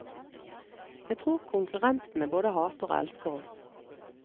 Jeg tror konkurrentene både hater og elsker oss.